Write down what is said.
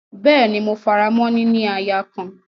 Bẹ́ẹ́ni, mo faramọ́ “ níní aya kan”.